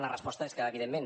la resposta és que evidentment